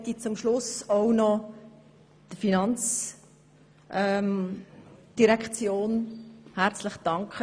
Ich möchte zum Schluss auch noch der FIN herzlich danken.